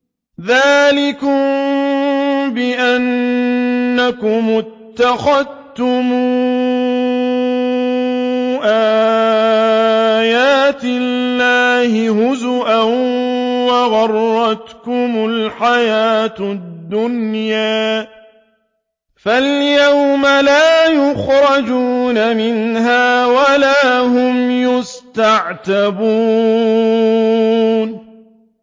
ذَٰلِكُم بِأَنَّكُمُ اتَّخَذْتُمْ آيَاتِ اللَّهِ هُزُوًا وَغَرَّتْكُمُ الْحَيَاةُ الدُّنْيَا ۚ فَالْيَوْمَ لَا يُخْرَجُونَ مِنْهَا وَلَا هُمْ يُسْتَعْتَبُونَ